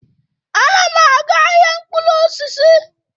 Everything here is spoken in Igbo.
Ana m aga ahịa mkpụrụ osisi.